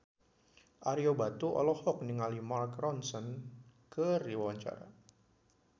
Ario Batu olohok ningali Mark Ronson keur diwawancara